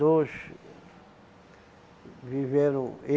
Dois viveram.